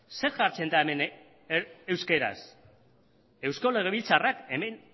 zer jartzen da hemen euskaraz eusko legebiltzarrak hemen